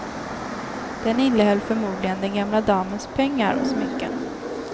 Den innehöll förmodligen den gamla damens pengar och smycken.